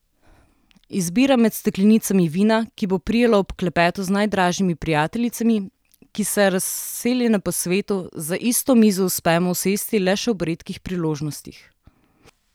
Izbiram med steklenicami vina, ki bo prijalo ob klepetu z najdražjimi prijateljicami, ki se, razseljene po svetu, za isto mizo uspemo usesti le še ob redkih priložnostih.